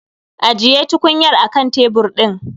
Ajiye tukunyar a kan tebur ɗin